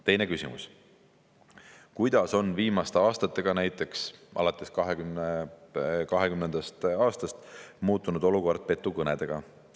Teine küsimus: "Kuidas on viimaste aastatega muutunud olukord petukõnedega?